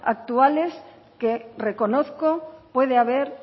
actuales que reconozco pueda haber